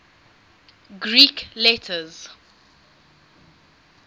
greek letters